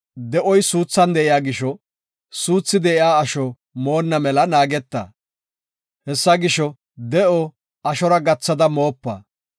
De7oy suuthan de7iya gisho, suuthi de7iya asho moonna mela naageta; hessa gisho, de7o ashora gathada moopa.